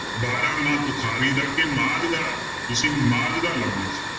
ਬਾਰਾਂਮਾਂਹ ਤੁਖਾਰੀ ਦਾ ਕਿ ਮਾਝ ਦਾ ਤੁਸੀਂ ਮਾਝ ਦਾ ਲਾਉਣਾ ਜੀ।